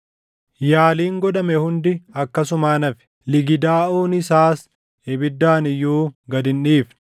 Yaaliin godhame hundi akkasumaan hafe; ligidaaʼuun isaas ibiddaan iyyuu gad hin dhiifne.